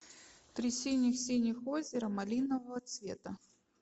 три синих синих озера малинового цвета